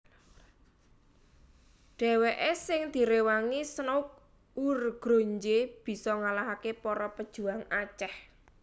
Dhèwèké sing diréwangi Snouck Hurgronje bisa ngalahaké para pejuang Aceh